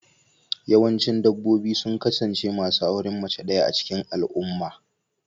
Yawancin dabbobi sun kasance masu auren mace ɗaya a cikin al'umma.